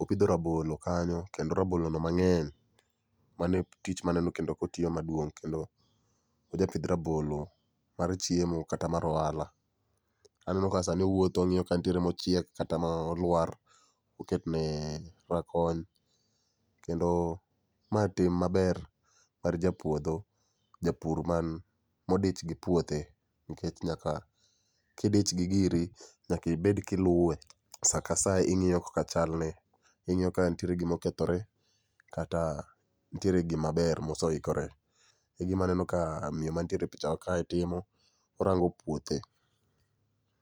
opidho rabolo kanyo, kendo rabolo no mangeny. Mano e tich maneno kendo kotiyo maduong kendo o japith rabolo mar chiemo kata mar ohala. Aneno ka sani owuotho ongiyo ka nitiere mochiek kata molwar oketne rakony kendo matim maber mar ja puodho, japur modich gi puothe nikech nyaka, kidich gi giri nyaka ibed kiluwe saa ka saa ingiyo kaka chalne, ingiyo ka nitie gima okethore kata nitie gima ber ma oseikore. Aneno ka miyo mantie e pichawa kae timo, orango puothe